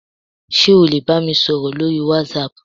sé o le bamísoro lorí watsap